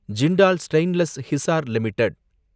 Jindal stainless Hisar limited